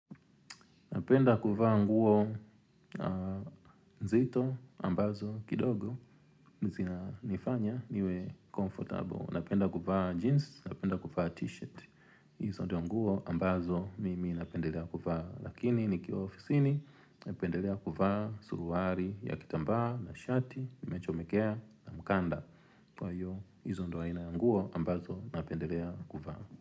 Napenda kuvaa nguo nzito ambazo kidogo zina nifanya niwe comfortable. Napenda kuvaa jeans, napenda kuvaa t-shirt. Izo ndo nguo ambazo mimi napendelea kuvaa. Lakini nikiwa ofisini napendelea kuvaa suruari ya kitambaa na shati, nimechomekea na mkanda. Kwa hiyo, izo ndo aina ya nguo ambazo napendelea kuvaa.